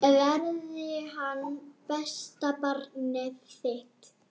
Verði hann besta barnið þitt.